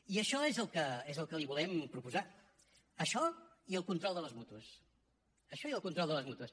i això és el que li volem proposar això i el control de les mútues això i el control de les mútues